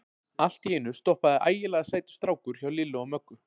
Allt í einu stoppaði ægilega sætur strákur hjá Lillu og Möggu.